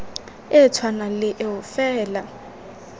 e tshwanang le eo fela